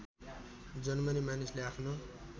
जन्मने मानिसले आफ्नो